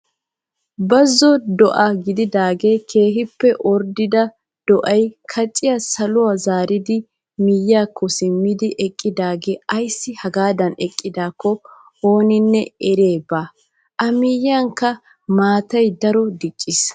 Bazo do'aa gididagee keehippe orddida do"ay kaaciyaa saluwaa zaaridi miyiyaakko simmidi eqqidaagee ayssi hegaadan eqqidaako ooninne eriyaya baawa. a miyiyanikka maatay daroy dicciis.